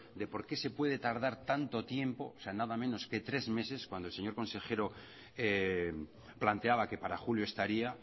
de por qué se puede tardar tanto tiempo nada menos que tres meses cuando el señor consejero planteaba que para julio estaría